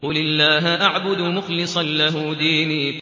قُلِ اللَّهَ أَعْبُدُ مُخْلِصًا لَّهُ دِينِي